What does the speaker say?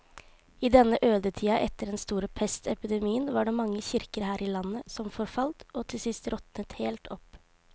I denne ødetida etter den store pestepidemien var det mange kirker her i landet som forfalt og til sist råtnet helt opp.